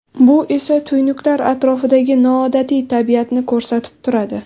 Bu esa tuynuklar atrofidagi noodatiy tabiatni ko‘rsatib turadi.